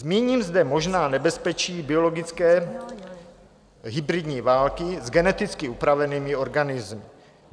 Zmíním zde možná nebezpečí biologické hybridní války s geneticky upravenými organismy.